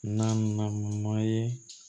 Na na ma ye